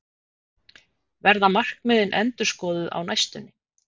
Verða markmiðin endurskoðuð á næstunni?